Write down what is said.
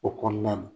O kɔnɔna na